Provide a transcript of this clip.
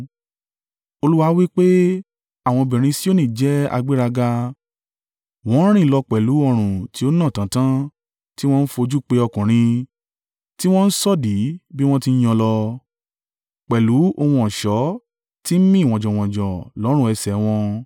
Olúwa wí pé, “Àwọn obìnrin Sioni jẹ́ agbéraga, wọn ń rìn lọ pẹ̀lú ọrùn tí ó nà tàntàn, tí wọn ń fojú pe ọkùnrin, tí wọn ń sọ̀dí bí wọ́n ti ń yan lọ pẹ̀lú ohun ọ̀ṣọ́ tí ń mì wọnjanwọnjan lọ́rùn ẹsẹ̀ wọn.